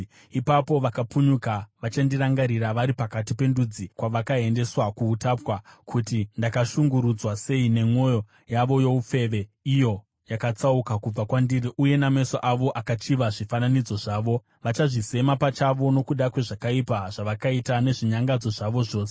Ipapo vakapunyuka vachandirangarira vari pakati pendudzi kwavakaendeswa kuutapwa, kuti ndakashungurudzwa sei nemwoyo yavo youfeve, iyo yakatsauka kubva kwandiri, uye nameso avo, akachiva zvifananidzo zvavo. Vachazvisema pachavo nokuda kwezvakaipa zvavakaita nezvinyangadzo zvavo zvose.